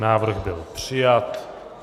Návrh byl přijat.